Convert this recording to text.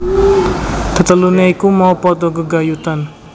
Tetelune iku mau padha gegayutan